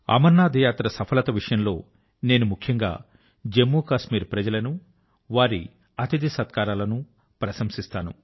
అమరనాథ్ యాత్ర సఫలత విషయం లో నేను ముఖ్యం గా జమ్ము కశ్మీర్ ప్రజల ను వారి అతిథి సత్కారాల ను ప్రశంసిస్తాను